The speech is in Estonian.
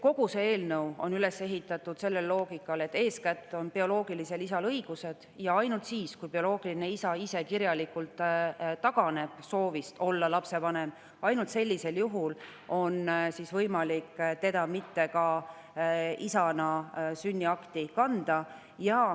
Kogu see eelnõu on üles ehitatud sellele loogikale, et eeskätt on õigused bioloogilisel isal ja ainult siis, kui bioloogiline isa ise kirjalikult taganeb soovist olla lapsevanem, on võimalik teda isana sünniakti mitte kanda.